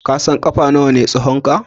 Ka san ƙafa nawa ne tsahonka?